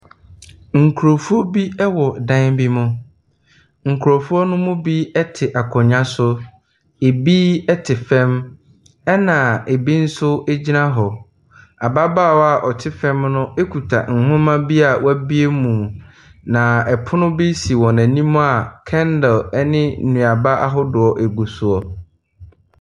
Nkurɔfoɔ bi wɔ dan bi mu. Nkurɔfoɔ no mu bi te akonnwa so. Ɛbi te fam, Ɛna ɛbi nso gyina hɔ. Ababaawa a ɔte fam no kuta nwoma bi a wabue mu. Na pono bi si wɔn anim a candle ne nnuaba ahodoɔ gu so.